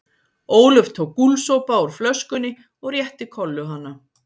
Ólöf tók gúlsopa úr flöskunni og rétti Kollu hana.